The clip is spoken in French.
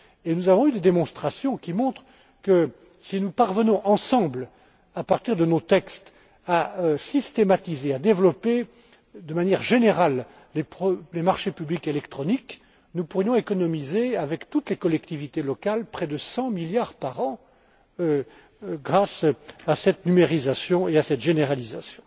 Nous avons eu des démonstrations qui montrent que si nous parvenons, ensemble, à partir de nos textes à systématiser, à développer de manière générale les marchés publics électroniques, nous pourrions économiser, avec toutes les collectivités locales, près de 100 milliards par an, grâce à cette numérisation et à cette généralisation.